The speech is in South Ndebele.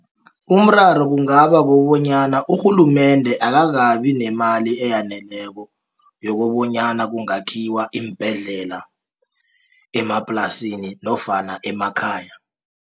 Umraro kungabakobonyana urhulumende akakabinemali eyaneleko yokobonyana kungakhiwa iimbhedlela emaplasini nofana emakhaya.